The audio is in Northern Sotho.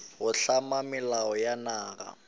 go hlama melao ya naga